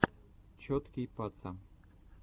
чоткий паца